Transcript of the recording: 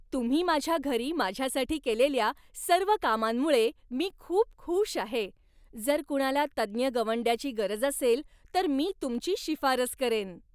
तुम्ही माझ्या घरी माझ्यासाठी केलेल्या सर्व कामांमुळे मी खूप खुश आहे. जर कुणाला तज्ज्ञ गवंड्याची गरज असेल तर मी तुमची शिफारस करेन.